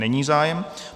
Není zájem.